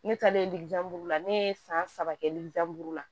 Ne taalen la ne ye san saba kɛ lija la